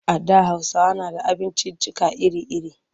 A da Hausawa na da abinciccika iri-iri.